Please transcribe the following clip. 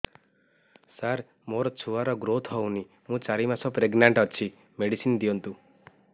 ସାର ମୋର ଛୁଆ ର ଗ୍ରୋଥ ହଉନି ମୁ ଚାରି ମାସ ପ୍ରେଗନାଂଟ ଅଛି ମେଡିସିନ ଦିଅନ୍ତୁ